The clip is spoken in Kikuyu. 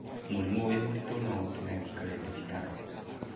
Mũrimũ wĩ mũritũ no ũtũme wũikare thibitarĩ.